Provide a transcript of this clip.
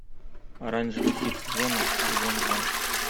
оранжевый хит сезона сезон два